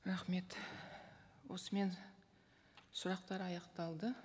рахмет осымен сұрақтар аяқталды